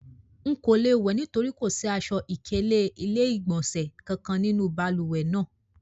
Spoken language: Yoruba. Nko le wẹ nitori ko si aṣọ-ikele ile-igbọnsẹ kankan ninu baluwe naa